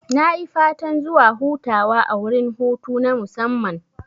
Nayi fatan zuwa hutawa a wurin hutu na musamman